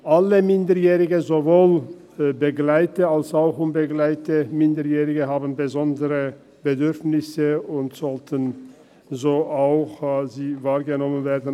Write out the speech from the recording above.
Alle Minderjährigen, sowohl begleitete als auch unbegleitete, haben besondere Bedürfnisse, und diese sollten auch so wahrgenommen werden.